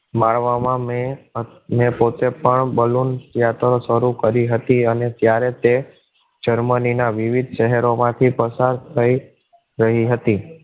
મારવા માં મેં પોતે પણ balloon યાત્રા શરૂ કરી હતી અને ત્યારે તે જર્મની ના વિવિધ શહેરો માંથી પસાર થઈ રહી હતી.